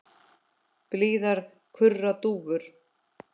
Blíðar kurra dúfur.